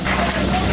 Burda burda.